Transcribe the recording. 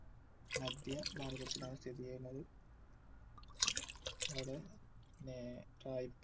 മധ്യഭാരതത്തിലാണ് സ്ഥിതിചെയ്യുന്നത് അവിടെ ന്നെ